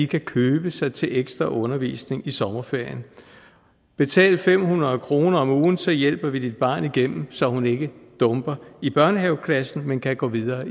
kan købe sig til ekstra undervisning i sommerferien betal fem hundrede kroner om ugen og så hjælper vi dit barn igennem så hun ikke dumper i børnehaveklassen men kan gå videre